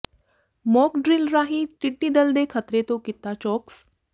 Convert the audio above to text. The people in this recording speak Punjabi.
ਮੌਕ ਡਰਿੱਲ ਰਾਹੀਂ ਟਿੱਡੀ ਦਲ ਦੇ ਖ਼ਤਰੇ ਤੋਂ ਕੀਤਾ ਚੌਕਸ